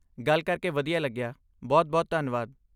ਗੱਲ ਕਰਕੇ ਵਧੀਆ ਲੱਗਿਆ! ਬਹੁਤ ਬਹੁਤ ਧੰਨਵਾਦ!